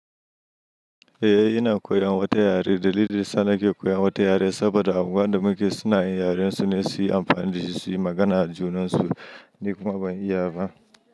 Eh ina koyan wata yare. Dalilin sa na ke koyan wata yare saboda anguwan da muke suna yin yaren su ne, su yi amfani da shi su yi magana da junan su. Ni kuma ban iya ba.